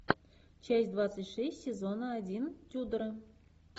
часть двадцать шесть сезона один тюдоры